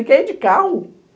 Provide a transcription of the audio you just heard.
E quer ir de carro?